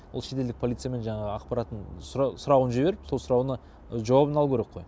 ол шетелдік полициямен жаңағы ақпаратын сұрауын жіберіп сол сұрауына жауабын алуы керек қой